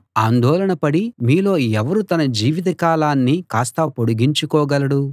ఆందోళనపడి మీలో ఎవరు తన జీవితకాలాన్ని కాస్త పొడిగించుకోగలడు